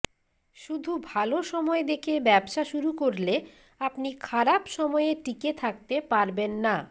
শুধু ভালো সময় দেখে ব্যবসা শুরু করলে আপনি খারাপ সময়ে টিকে থাকতে পারবেন না